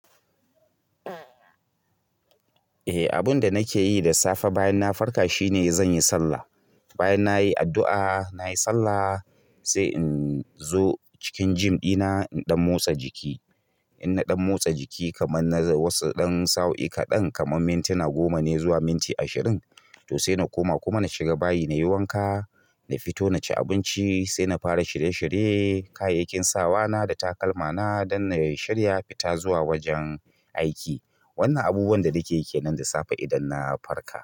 Eh, abun da nake yi da safe bayan na farka shine zan yi sallah. Bayan nayi addu'a nayi sallah sai in zo cikin gym ɗina in ɗan motsa jiki. In na ɗan motsa jiki kaman na wasu ɗan sa'o'i kaɗan, kaman mintuna goma ne zuwa minti ashirin. To sai na koma kuma na shiga bayi na yi wanka, na fito na ci abinci sai na fara shirye-shirye kayayyakin sawa na da takalma na dan na shirya fita zuwa wajen aiki. Wannan abubuwan da nakeyi kenan da safe idan na farka.